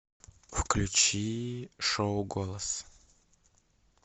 включи шоу голос